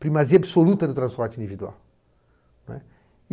Primazia absoluta do transporte individual.